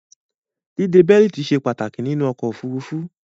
Díde bẹ́lítì ìjòkó se pàtàkì nínú okò òfurufú